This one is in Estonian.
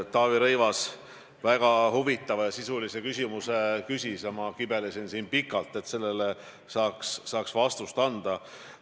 Taavi Rõivas küsis väga huvitava ja sisulise küsimuse ja ma kibelesin pikalt, et sellele saaks vastuse anda.